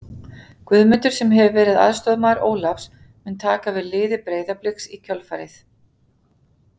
Guðmundur, sem hefur verið aðstoðarmaður Ólafs, mun taka við liði Breiðabliks í kjölfarið.